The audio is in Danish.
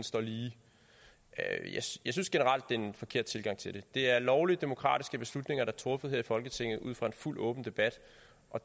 står lige jeg synes generelt er det er en forkert tilgang til det det er lovlige demokratiske beslutninger der er truffet her i folketinget ud fra en fuldt åben debat og